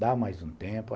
Dá mais um tempo.